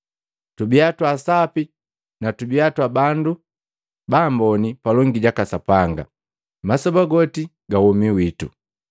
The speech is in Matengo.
Tubiya twa sapi na tubiya bandu bamboni palongi jaka Sapanga, masoba goti ga womi wito.”